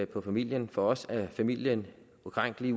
på familien for os er familien ukrænkelig